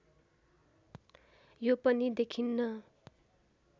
यो पनि देखिन्न